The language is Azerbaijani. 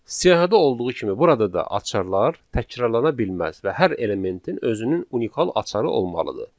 Siyahıda olduğu kimi burada da açarlar təkrarlana bilməz və hər elementin özünün unikal açarı olmalıdır.